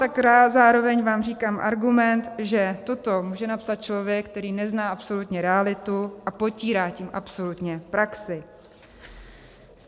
Tak zároveň vám říkám argument, že toto může napsat člověk, který nezná absolutně realitu a potírá tím absolutně praxi.